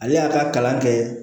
Ale y'a ka kalan kɛ